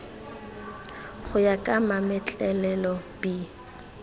go ya ka mametlelelo b